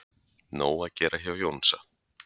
Nóg að gera hjá Jónsa